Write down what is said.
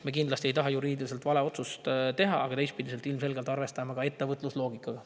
Me kindlasti ei taha teha juriidiliselt valet otsust, aga teistpidi ilmselgelt arvestame ka ettevõtlusloogikat.